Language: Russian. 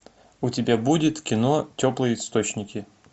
у тебя будет кино теплые источники